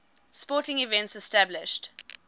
sporting events established